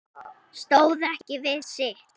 Stóð ekki við sitt